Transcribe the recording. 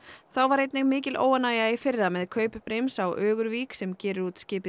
þá var einnig mikil óánægja í fyrra með kaup brims á Ögurvík sem gerir út skipið